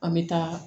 An bɛ taa